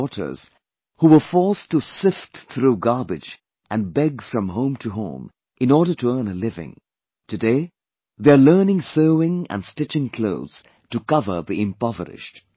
Our daughters, who were forced to sift through garbage and beg from home to home in order to earn a living today they are learning sewing and stitching clothes to cover the impoverished